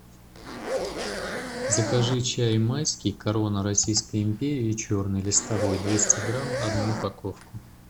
закажи чай майский корона российской империи черный листовой двести грамм одну упаковку